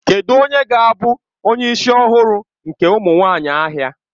Kedụ onye ga-abụ onye isi ọhụrụ nke ụmụ nwanyị ahịa?